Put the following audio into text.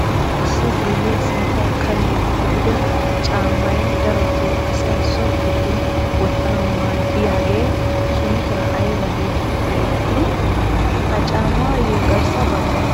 Issi guyee sinttay kalo gidido caammay darotoo asay so giddon wottanawu maaddiyaagee sunttay ayba getetti xeegettii? Ha caamaayo garssa baggay aybaa milatii?